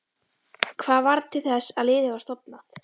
Hvað varð til þess að liðið var stofnað?